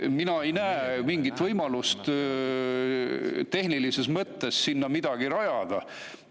Mina ei näe tehnilises mõttes mingit võimalust sinna midagi rajada.